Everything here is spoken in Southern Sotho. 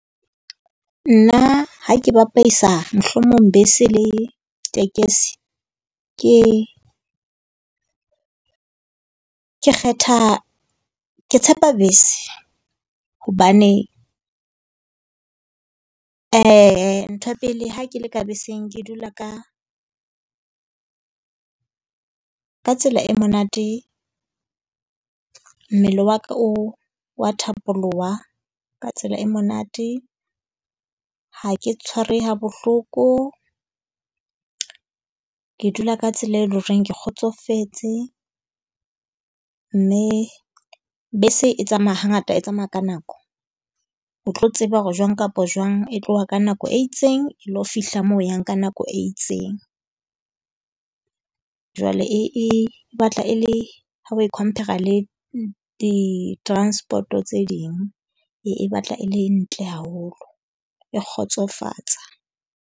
Nna ha ke bapaisa mohlomong bese le tekesi ke, ke kgetha ke tshepa bese hobane ntho ya pele ha ke le ka beseng. ke dula ka ka tsela e monate. Mmele wa ka o wa thapolloha ka tsela e monate. Ha ke tshwarehe ha bohloko. Ke dula ka tsela e le ho reng ke kgotsofetse. Mme bese e tsamaya hangata e tsamaya ka nako. O tlo tseba hore jwang kapa jwang e tloha ka nako e itseng e ilo fihla moo o yang ka nako e itseng. Jwale e e batla e le ha oe compar-ra le di-transport-o tse ding e e batla e le ntle haholo, e kgotsofatsa.